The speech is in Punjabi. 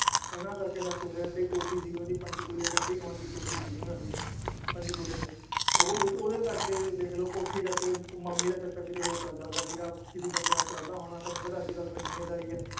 ਉਹਨਾਂ ਕਰਕੇ ਸਬ ਕੁਛ ਹੋਇਆ ਏਡੀ ਕੋਠੀ ਸੀਗੀ ਉਹਨਾਂ ਦੀ ਪੰਚਕੂਲੇ ਰਹਿੰਦੀ ਖੁਆਂਦੀ ਕੋਠੀ ਸੀਗੀ ਉਹਨਾਂ ਦੀ ਪੰਚਕੂਲੇ ਚ ਉਹ ਉਹ ਓਹਦੇ ਕਰਕੇ ਦੇਖਲੋ ਕੋਠੀ ਕਰਕੇ ਉਹ ਮਾਮੀ ਦਾ ਚੱਕਰ ਕੀਤੇ ਹੋਰ ਚੱਲਦਾ ਪਿਆ ਸੀਗਾ ਕਿਸੀ ਬੰਦੇ ਨਾਲ ਚੱਲਦਾ ਹੋਣਾ ਤੁਹਾਨੂੰ ਪਤਾ ਏ ਅੱਜਕੱਲ ਤਾਂ ਦੁਨੀਆਦਾਰੀ ਏ